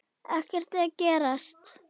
Ekkert að gerast.